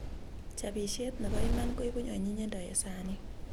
Chapisiet nebo iman koipu anyinyindo eng sanit